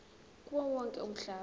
kuwo wonke umhlaba